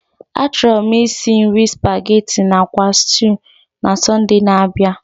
Achọrọ m isi nri supageti na akwa stuu na Sọnde na-abịa.